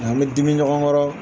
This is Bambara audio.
Nka an bɛ dimi ɲɔgɔn kɔrɔ